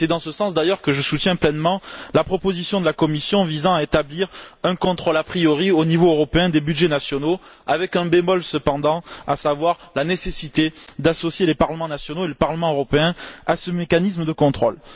C'est dans ce sens d'ailleurs que je soutiens pleinement la proposition de la Commission visant à établir un contrôle a priori, au niveau européen, des budgets nationaux, avec un bémol cependant, à savoir la nécessité d'associer les parlements nationaux et le Parlement européen à ce mécanisme de contrôle.